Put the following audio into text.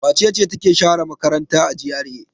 Wace ce take share makaranta a GRA?